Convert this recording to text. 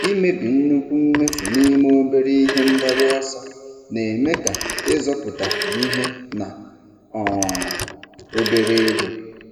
Ịmebi nnukwu mmefu n'ime obere ihe mgbaru ọsọ na-eme ka ịzọpụtakwu ihe na um obere ego.